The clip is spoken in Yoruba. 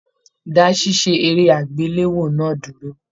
Dá ṣiṣe eré agbelewo náà dúró!